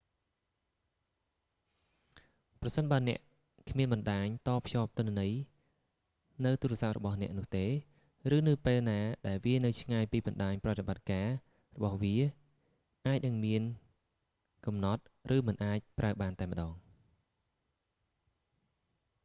ប្រសិនបើអ្នកគ្មានបណ្ដាញតភ្ជាប់ទិន្នន័យនៅទូរស័ព្ទរបស់អ្នកនោះទេ ឬនៅពេលណាដែលវានៅឆ្ងាយពីបណ្ដាញ ប្រតិបត្តិការរបស់វាអាចនឹងមានកំណត់ ឬមិនអាចប្រើបានតែម្តង